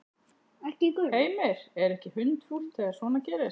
Heimir: Er ekki hundfúlt þegar svona gerist?